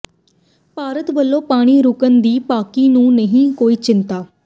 ਭਾਰਤ ਵੱਲੋਂ ਪਾਣੀ ਰੁਕਣ ਦੀ ਪਾਕਿ ਨੂੰ ਨਹੀਂ ਕੋਈ ਚਿੰਤਾ